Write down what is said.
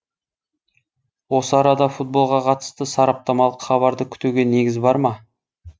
осы арада футболға қатысты сараптамалық хабарды күтуге негіз бар ма